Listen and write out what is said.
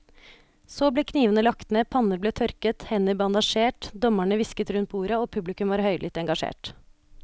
Så ble knivene lagt ned, panner ble tørket, hender bandasjert, dommerne hvisket rundt bordet og publikum var høylytt engasjert.